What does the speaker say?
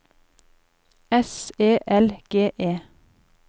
S E L G E